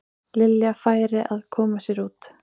Lilja færi að koma sér út.